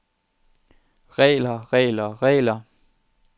regler regler regler